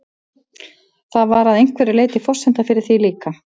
Það var að einhverju leyti forsenda fyrir því líka.